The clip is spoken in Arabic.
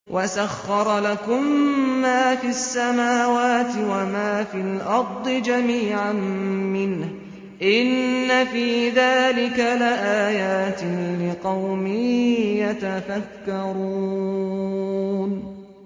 وَسَخَّرَ لَكُم مَّا فِي السَّمَاوَاتِ وَمَا فِي الْأَرْضِ جَمِيعًا مِّنْهُ ۚ إِنَّ فِي ذَٰلِكَ لَآيَاتٍ لِّقَوْمٍ يَتَفَكَّرُونَ